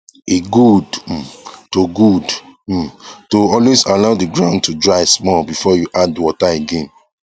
e good um to good um to always allow the ground to dry small before you add water again